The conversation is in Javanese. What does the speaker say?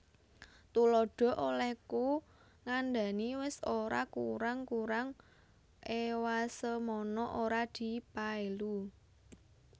Tuladha Olèhku ngandhani wis ora kurang kurang ewasemono ora dipaèlu